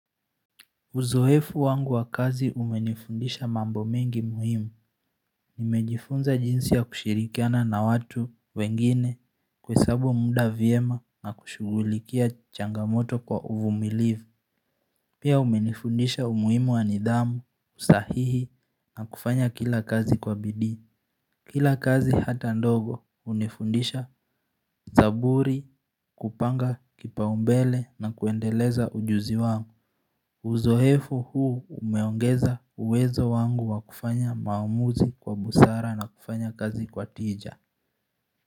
Uzoefu wangu wa kazi umenifundisha mambo mengi muhimu Nimejifunza jinsi ya kushirikiana na watu wengine kuhesabu muda vyema na kushughulikia changamoto kwa uvumilivu Pia umenifundisha umuhimu wa nidhamu, usahihi na kufanya kila kazi kwa bidii Kila kazi hata ndogo hunifundisha zaburi kupanga kipaumbele na kuendeleza ujuzi wangu Uzoefu huu umeongeza uwezo wangu wa kufanya maamuzi kwa busara na kufanya kazi kwa tija.